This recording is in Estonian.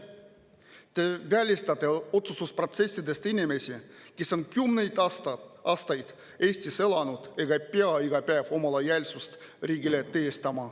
Te välistate otsustusprotsessidest inimesi, kes on kümneid aastaid Eestis elanud ega pea iga päev oma lojaalsust riigile tõestama.